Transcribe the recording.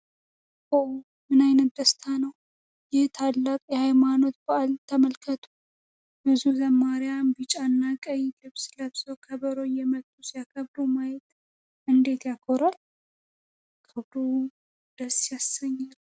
ኦ ምን አይነት ደስታ ነው! ይህን ታላቅ የሃይማኖት በዓል ተመልከቱ! ብዙ ዘማሪያን ቢጫና ቀይ ልብስ ለብሰው ከበሮ እየመቱ ሲያከብሩ ማየት እንዴት ያኮራል! ክብሩ ደስ ያሰኛል!